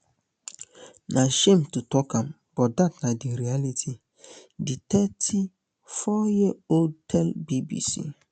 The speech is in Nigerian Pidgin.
na shame to tok am but dat na di reality di thirty-fouryearold tell bbc